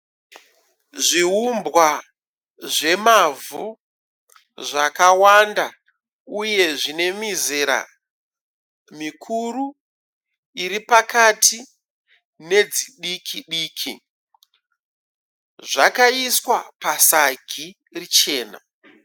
Zviwumbwa zvemavhu zvakawanda, uyezve zvinemizera mikuru, iripakati nedzidikidiki. Zvakaiswa pasagi richena.